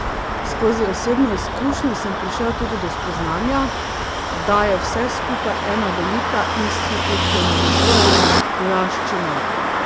Skozi osebno izkušnjo sem prišel tudi do spoznanja, da je vse skupaj ena velika institucionalizirana vojaščina.